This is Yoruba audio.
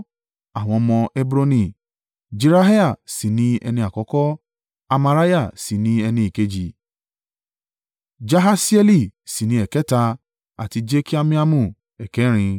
Àwọn ọmọ Hebroni: Jeriah sì ni ẹni àkọ́kọ́, Amariah sì ni ẹni ẹ̀ẹ̀kejì, Jahasieli sì ni ẹ̀ẹ̀kẹ́ta àti Jekameamu ẹ̀ẹ̀kẹrin.